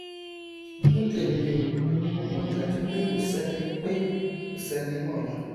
ní tèmi o mo mọn dájú pé kòsẹni pé kòsẹni mọla